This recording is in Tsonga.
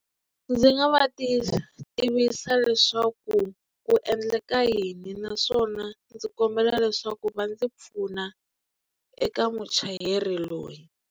Ndzi nga va tivisa leswaku ku endleka yini naswona ndzi kombela leswaku va ndzi pfuna eka muchayeri loyi.